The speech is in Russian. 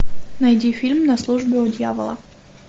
найди фильм на службе у дьявола